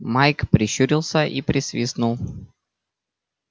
майк прищурился и присвистнул